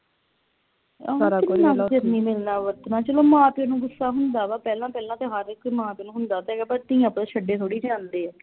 ਮਿਲਣਾ ਵਰਤਣਾ ਚੱਲੋ ਮਾਂ ਪਿਉ ਨੂੰ ਗੁੱਸਾ ਹੁੰਦਾ ਵਾਂ ਪਹਿਲਾਂ ਪਹਿਲਾਂ ਤੇ ਹਰ ਇਕ ਮਾਂ ਪਿਉ ਨੂੰ ਹੁੰਦਾ ਤੇ ਹੈਗਾ ਪਰ ਧੀਆਂ ਪੁੱਤ ਛੱਡੇ ਥੋੜੀ ਜਾਂਦੇ